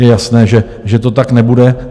Je jasné, že to tak nebude.